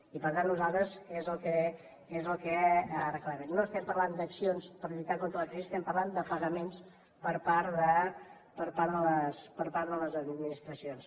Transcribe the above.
i per tant nosaltres és el que reclamem no estem parlant d’accions per lluitar contra la crisi estem parlant de pagaments per part de les administracions